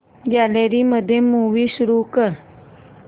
gallery मध्ये movie सुरू कर